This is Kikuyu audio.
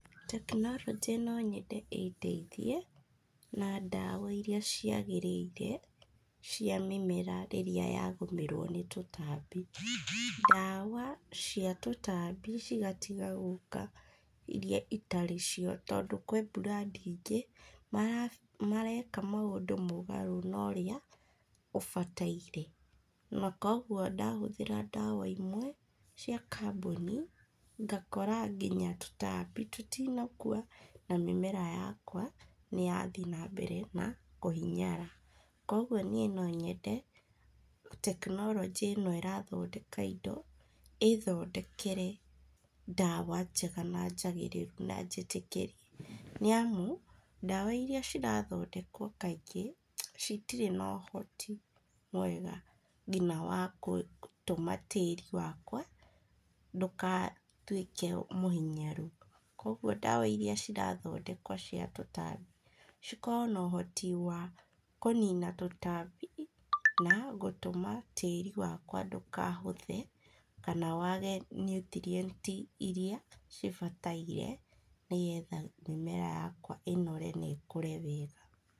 Tekinorojĩ no nyende ĩ ndeithie, na ndawa iria ciagĩrĩire, cia mĩmera rĩrĩa yagũmĩrwo nĩ tũtambi. Ndawa cia tũtambi cigatiga gũka iria itarĩ cio tondũ kwĩ brand ingĩ, mareka maũndũ mũgarũ na ũrĩa ũbataire, na koguo ndahũthĩra ndawa imwe cia kambũni, ngakora nginya tũtambi tũtinakua, na mĩmera yakwa nĩ yathiĩ nambere na kũhinyara. Koguo niĩ no nyende, tekinorojĩ ĩno ĩrathondeka indo, ĩthondekere ndawa njega na njagĩrĩrũ na njĩtĩkĩre, nĩamu, ndawa iria cirathondekwo kaingĩ, citirĩ na ũhoti mwega nginya wa kũtũma tĩri wakwa, ndũkatuĩke mũhinyaru. Koguo ndawa iria cirathodekwo cia tũtambi cikorwo na ũhoti wa kũnina tũtambi, na gũtũma tĩri wakwa ndũkahũthe, kana wage nutrient iria cibatairie, nĩgetha mĩmera yakwa inore na ĩkũre wega.